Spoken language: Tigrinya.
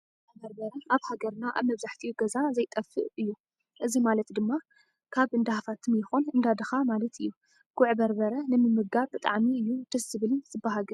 ጉዕ በርበረ ኣብ ሃገርና ኣብ መብዛሕቲኡ ገዛ ዘይጠፍእ እዩ። እዚ ማለት ድማ ካብ እንዳ ሃፍታም ይኹን እንዳ ድኻ ማለት እዩ። ጉዕ በርበረ ንምምጋብ ብጣዕሚ እዩ ደስ ዝብልን ዝበሃግን።